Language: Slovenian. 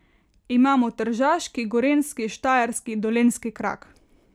Imamo tržaški, gorenjski, štajerski, dolenjski krak.